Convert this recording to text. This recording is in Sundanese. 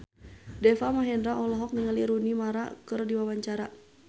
Deva Mahendra olohok ningali Rooney Mara keur diwawancara